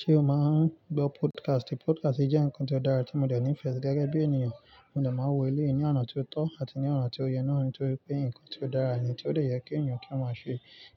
Ṣé o máa ń gbọ́ podcast? Podcast jẹ́ nǹkan tí ó dára tí mo dẹ̀ nífẹ̀ẹ́ gẹ́gẹ́ bí ènìyàn. Mo máa ń wo ilé yìí ní àná tí ó tó àti ní àná tí ó yẹ náà nítorí pé nǹkan tí ó dára, tí ó de é ye kí èyàn kí wọ́n máa ṣe.